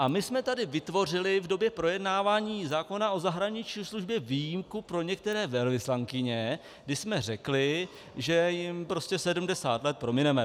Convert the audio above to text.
A my jsme tady vytvořili v době projednávání zákon o zahraniční službě výjimku pro některé velvyslankyně, kdy jsme řekli, že jim 70 let promineme.